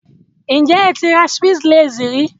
Have you ever bought a Swiss Lace?